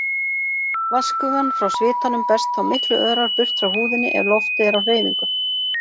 Vatnsgufan frá svitanum berst þá miklu örar burt frá húðinni ef loftið er á hreyfingu.